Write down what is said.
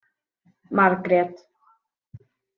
Margrét